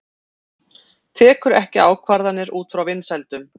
Tekur ekki ákvarðanir út frá vinsældum